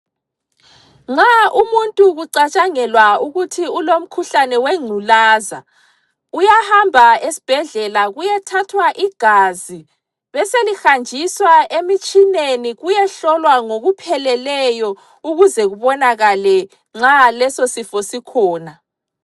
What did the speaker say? Nxa umuntu kucatshangelwa ukuthi ulomkhuhlane wengculaza uyahamba esibhedlela kuyethathwa igazi beselihanjiswa emitshineni kuyehlolwa ngokupheleleyo ukuze kubonakele nxa leso sifo sikhona